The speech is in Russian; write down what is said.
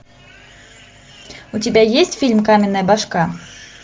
у тебя есть фильм каменная башка